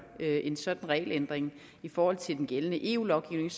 en sådan regelændring i forhold til den gældende eu lovgivning